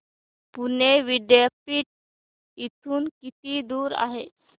पुणे विद्यापीठ इथून किती दूर आहे